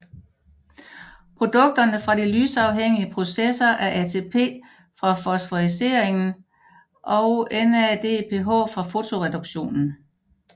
Produkterne fra de lysafhængige processer er ATP fra fosforyliseringen og NADPH fra fotoreduktionen